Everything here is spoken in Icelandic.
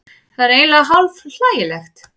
Það er eiginlega hálf hlægilegt